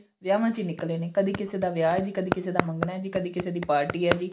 ਵਿਹਾਵਾਂ ਚ ਹੀ ਨਿਕਲੇ ਨੇ ਕਦੇ ਕਿਸੀ ਦਾ ਵਿਆਹ ਜੀ ਕਦੇ ਕਿਸੇ ਦਾ ਮੰਗਣਾ ਜੀ ਕਦੇ ਕਿਸੇ ਦੀ ਪਾਰਟੀ ਏ ਜੀ